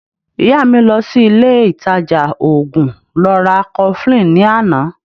Ìyá mi lọ sí ile ìtajà oògùn lọ ra cofflin ní àná